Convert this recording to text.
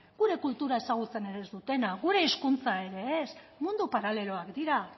gure kultura ere ezagutzen ez dutenak gure hizkuntza ere ez mundu paraleloak dira